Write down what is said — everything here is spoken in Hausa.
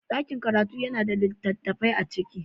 Daƙin karatu yana da littattafai a ciki.